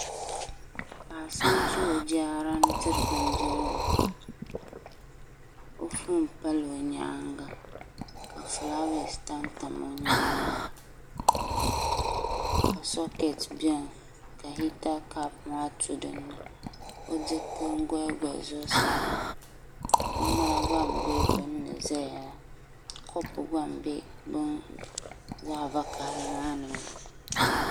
Paɣa so n ʒi o jaara ni n diri bindirigu o foon pala o nyaanga ka fulaawaasi tamtam o nyaanŋa ka sokɛt biɛni ka sokɛt biɛni ka hita kaap maa tuntu dinni o diriti n goli goli zuɣusaa maa o ŋmana gba n bɛ binni ʒɛya la kopu gba n bɛ la vakaɣali maa ni maa